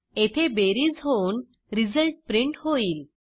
येथे बेरीज होऊन रिझल्ट प्रिंट होईल